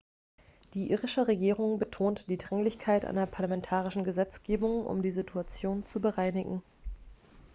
die irische regierung betont die dringlichkeit einer parlamentarischen gesetzgebung um die situation zu bereinigen